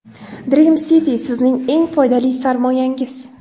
Dream City sizning eng foydali sarmoyangiz.